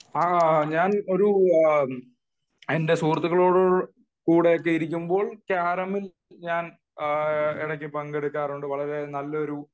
ആഹ് ഞാൻ എന്റെ സുഹൃത്തുക്കൊളോടൊപ്പം ഇരിക്കുമ്പോൾ കാരമിൽ ഞാൻ ഇടക്ക് പങ്കെടുക്കാറുണ്ട് വളരെ നല്ലൊരു